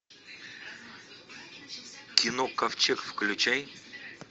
кино ковчег включай